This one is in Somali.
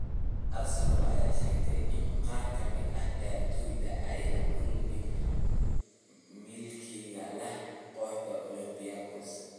Arsenal ayaa sheegtay in qaar ka mid ah ciyaartoydeeda ay la kulmeen milkiilaha kooxda Olympiakos.